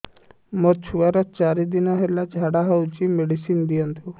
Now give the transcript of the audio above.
ମୋର ଛୁଆର ଚାରି ଦିନ ହେଲା ଝାଡା ହଉଚି ମେଡିସିନ ଦିଅନ୍ତୁ